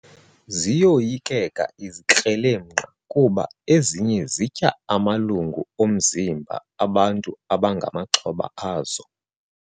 Ziyoyikeka izikrelemnqa kuba ezinye zitya amalungu omzimba bantu abangamaxhoba azo.